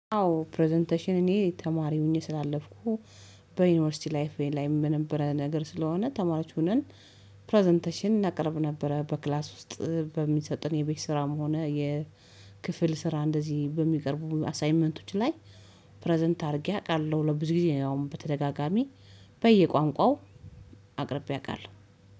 አዎ ፕረዘንቴሽን እኔ ተማሪ ሆኜ ስላለፍኩ በዩኒቨርሲቲ ላይፌ ላይም በነበረ ነገር ስለሆነ ተማሪዎች ሆነን ፕረዘንቴሽን እናቀርብ ነበረ በክላስ ውስጥ በሚሰጥን የቤት ስራም ሆነ የክፍል ስራ እንደዚህ በሚቀርቡ አሳይመንቶች ላይ ፕረዘንት አድርጌ አውቃለሁ። ለብዙ ጊዜ አሁን በተደጋጋሚ በየቋንቋው አቅርቤ አውቃለሁ